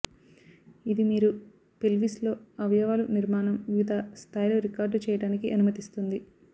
ఇది మీరు పెల్విస్ లో అవయవాలు నిర్మాణం వివిధ స్థాయిలు రికార్డు చేయడానికి అనుమతిస్తుంది